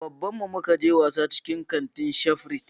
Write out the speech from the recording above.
Da baban mu muka je wasa na cikin baban kanti na shafrit